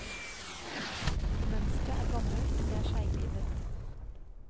Mønsteret er gammelt og det er seiglivet.